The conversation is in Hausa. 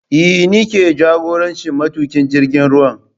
Eh ni ke jagorancin matuƙin jirgin ruwan